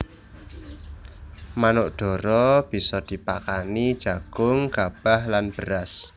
Manuk dara bisa dipakani jagung gabah lan beras